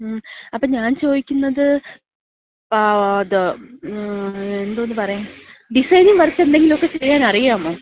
മ്മ്. അപ്പ ഞാൻ ചോദിക്കുന്നത്, ങ്ങാ അത് എന്തോന്ന് പറയാൻ ഡിസൈനിംഗ് വർക്ക് എന്തെങ്കിലുമൊക്കെ ചെയ്യാനറിയാമോ?